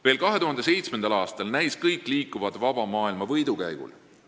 Veel 2007. aastal näis kõik liikuvat vaba maailma võidukäigul.